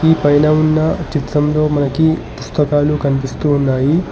ఈ పైన ఉన్న చిత్రంలో మనకి పుస్తకాలు కనిపిస్తూ ఉన్నాయి.